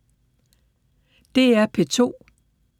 DR P2